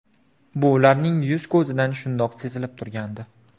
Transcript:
Bu ularning yuz-ko‘zidan shundoq sezilib turgandi.